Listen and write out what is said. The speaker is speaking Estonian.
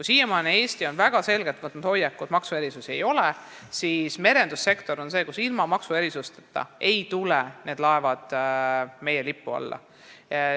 Siiamaani on Eesti väga selgelt võtnud hoiaku, et meil maksuerisusi ei ole, aga merendussektoris ei tule laevad ilma maksuerisusteta meie lipu alla.